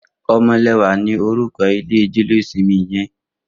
Omolewa ni órúkọ̀ ilé jẹléósìmì yèn